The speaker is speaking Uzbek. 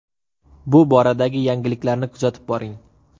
Bu boradagi yangiliklarni kuzatib boring.